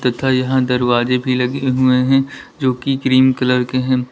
तथा यहां दरवाजे भी लगे हुए हैं जोकि क्रीम कलर के हैं।